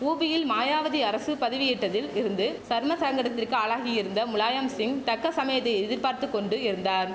உபியில் மாயாவதி அரசு பதவியேட்டதில் இருந்து சர்மசங்கடத்திற்கு ஆளாகியிருந்த முலாயம்சிங் தக்க சமயத்தை எதிர்பார்த்து கொண்டு இருந்தார்